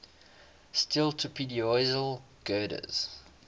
steel trapezoidal girders